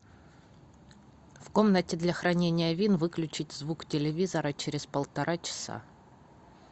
в комнате для хранения вин выключить звук телевизора через полтора часа